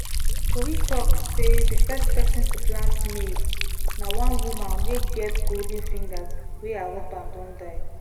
tori talk sey the first person to plant maize na wan woman wey get golden fingers wey her husband don die